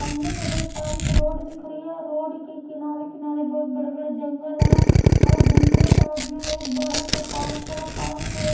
सामने मैं देख पा रही एक रोड दिख रही है रोड के किनारे किनारे बहुत बड़े बड़े जंगल हैं और दूसरे साइड में एक बड़ा सा पार्क है पार्क के--